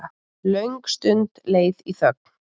Löng stund leið í þögn.